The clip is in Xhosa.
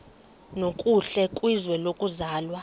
nokuhle kwizwe lokuzalwa